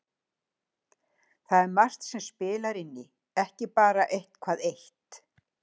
Það er margt sem spilar inn í, ekki bara eitthvað eitt